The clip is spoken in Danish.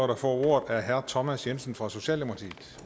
der får ordet er herre thomas jensen fra socialdemokratiet